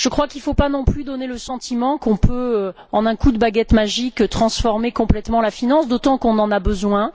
Il ne faut pas non plus donner le sentiment qu'on peut, en un coup de baguette magique, transformer complètement la finance, d'autant qu'on en a besoin.